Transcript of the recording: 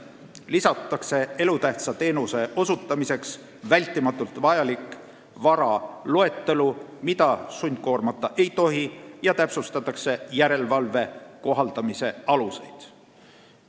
Samuti lisatakse elutähtsa teenuse osutamiseks vältimatult vajaliku vara loetelu, mida sundkoormata ei tohi, ja täpsustatakse järelevalve kohaldamise aluseid.